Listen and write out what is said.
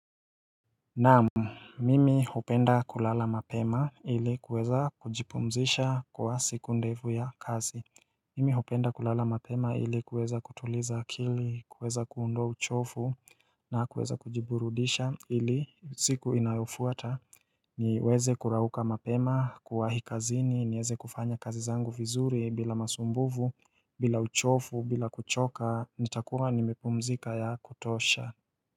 Naamu, mimi hupenda kulala mapema ili kuweza kujipumzisha kwa siku ndefu ya kazi Mimi hipenda kulala mapema ili kuweza kutuliza akili, kuweza kuondoa uchofu na kuweza kujiburudisha ili siku inayofuata niweze kurauka mapema, kuwahi kazini, nieze kufanya kazi zangu vizuri bila masumbuvu, bila uchofu, bila kuchoka, nitakuwa nimepumzika ya kutosha.